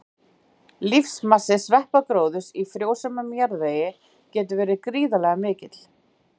Lífmassi sveppagróðurs í frjósömum jarðvegi getur verið gríðarlega mikill.